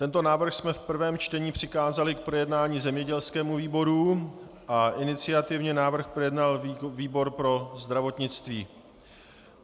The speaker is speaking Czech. Tento návrh jsme v prvém čtení přikázali k projednání zemědělskému výboru a iniciativně návrh projednal výbor pro zdravotnictví.